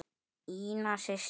Ína systir.